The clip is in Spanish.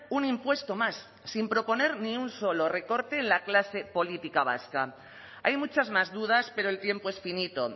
un impuesto más sin proponer ni un solo recorte en la clase política vasca hay muchas más dudas pero el tiempo es finito